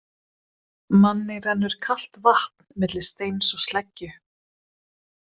Manni rennur kalt vatn milli steins og sleggju.